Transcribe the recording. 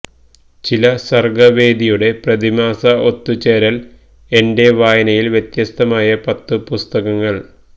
ചില്ല സർഗവേദിയുടെ പ്രതിമാസ ഒത്തു ചേരൽ എന്റെ വായനയിൽ വ്യത്യസ്തമായ പത്തു പുസ്തകങ്ങൾ